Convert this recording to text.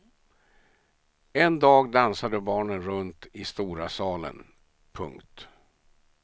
En dag dansade barnen runt i stora salen. punkt